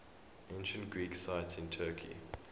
ancient greek sites in turkey